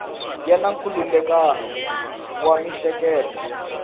ya na nkhulukelano wa miehleketo